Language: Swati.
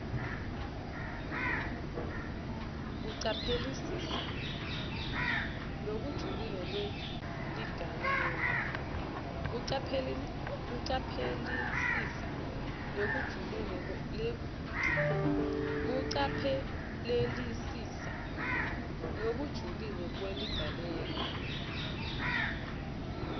kucaphelisisa lokujulile kweligalelo